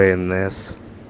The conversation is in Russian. днс